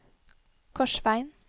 Korsvegen